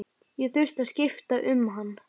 Ég þurfti að skipta um hann.